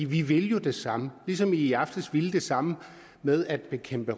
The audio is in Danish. vi vil jo det samme ligesom vi i aftes ville det samme med at bekæmpe